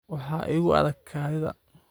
Waxaa igu adag kaadida